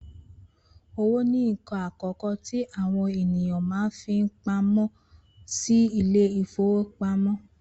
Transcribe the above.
Owó ni nǹkan àkọ́kọ́ tí àwọn ènìyàn máa ń fi pamọ́ sí ilé ìfowópamọ́